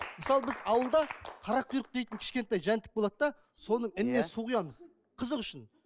мысалы біз ауылда қарақұйрық деген кішкентай жәндік болады да соның ініне иә су құямыз қызық үшін